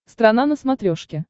страна на смотрешке